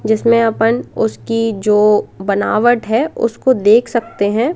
जिसमें अपन उसकी जो बनावट है उसको देख सकते हैं।